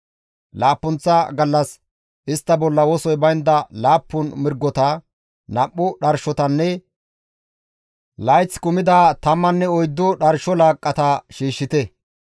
« ‹Laappunththa gallas istta bolla wosoy baynda laappun mirgota, nam7u dharshotanne layth kumida tammanne oyddu dharsho laaqqata shiishshite.